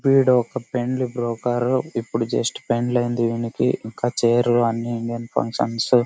వీడు ఒక పెండ్లి బ్రోకర్ . ఇప్పుడు జస్ట్ పెండ్లి అయింది వీనికి.